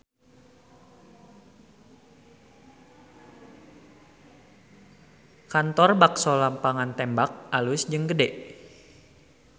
Kantor Bakso Lapangan Tembak alus jeung gede